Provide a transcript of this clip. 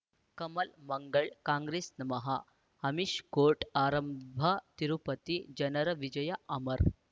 ಕಮಲ್ ಮಂಗಳ್ ಕಾಂಗ್ರೆಸ್ ನಮಃ ಅಮಿಷ್ ಕೋರ್ಟ್ ಆರಂಭ ತಿರುಪತಿ ಜನರ ವಿಜಯ ಅಮರ್